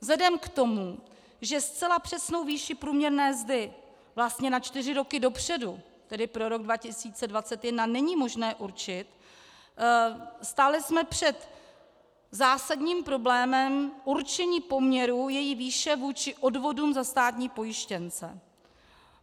Vzhledem k tomu, že zcela přesnou výši průměrné mzdy vlastně na čtyři roky dopředu, tedy pro rok 2021, není možné určit, stáli jsme před zásadním problémem určení poměrů její výše vůči odvodům za státní pojištěnce.